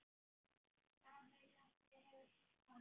Afi nafni hefur kvatt.